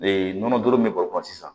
Ee nɔnɔ dɔrɔn bɛ bɔrɔ kɔnɔ sisan